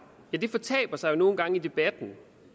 det fortaber sig jo nogle gange i debatten